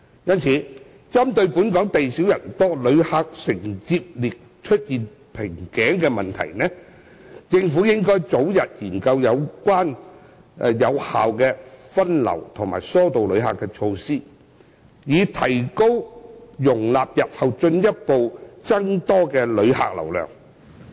因此，針對本港地少人多，旅客承接力出現瓶頸的問題，政府應早日研究有效的分流和疏導旅客措施，以提高容納日後進一步增多的旅客流量的能力。